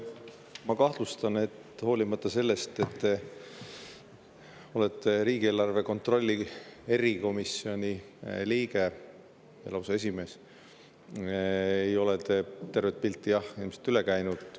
Ma kahtlustan, et hoolimata sellest, et te olete riigieelarve kontrolli erikomisjoni liige ja lausa selle esimees, ei ole te tervest pildist, jah, ilmselt üle käinud.